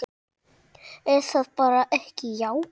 Er það bara ekki jákvætt?